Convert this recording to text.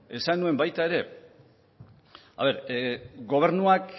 gobernuak